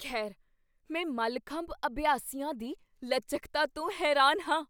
ਖੈਰ, ਮੈਂ ਮਲਖੰਬ ਅਭਿਆਸੀਆਂ ਦੀ ਲਚਕਤਾ ਤੋਂ ਹੈਰਾਨ ਹਾਂ!